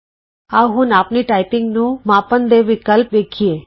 ਆਉ ਹੁਣ ਆਪਣੀ ਟਾਈਪਿੰਗ ਨੂੰ ਮਾਪਣ ਦੇ ਵਿਕਲਪ ਵੇਖੀਏ